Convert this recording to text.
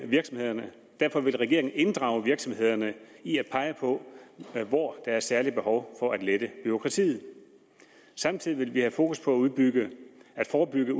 virksomhederne derfor vil regeringen inddrage virksomhederne i at pege på hvor der særlig er behov for at lette bureaukratiet samtidig vil vi have fokus på at forebygge